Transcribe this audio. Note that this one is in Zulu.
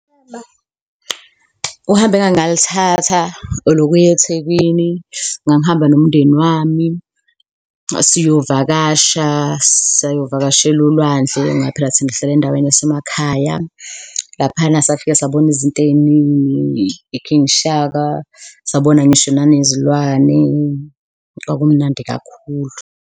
Uhambo engake ngalithatha olokuya eThekwini, ngangihamba nomndeni wami siyovakasha, sayovakashela olwandle ngoba phela thina sihlala endaweni yasemakhaya. Laphayana safika sabona izinto eyiningi, i-King Shaka, sabona ngisho nanezilwane, kwakumnandi kakhulu.